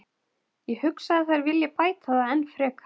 Ég hugsa að þær vilji bæta það enn frekar.